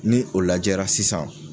Ni o lajɛra sisan